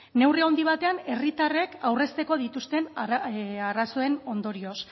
neurri handi batean herritarrek aurrezteko dituzten arazoen ondorioz